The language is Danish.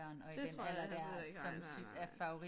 Det tror jeg heller slet ikke nej nej nej nej